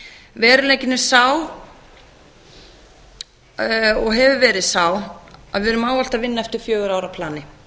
veruleikinn er sá og hefur verið sá að við erum ávallt að vinna eftir fjögurra ára plani